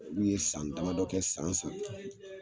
N'u ye san dama dɔ kɛ san